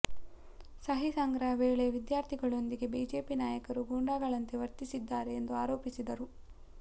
ಸಹಿ ಸಂಗ್ರಹ ವೇಳೆ ವಿದ್ಯಾರ್ಥಿಗಳೊಂದಿಗೆ ಬಿಜೆಪಿ ನಾಯಕರು ಗೂಂಡಾಗಳಂತೆ ವರ್ತಿಸಿದ್ದಾರೆ ಎಂದು ಆರೋಪಿಸಿದರು